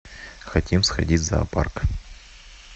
хотим сходить в зоопарк